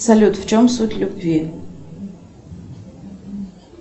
салют в чем суть любви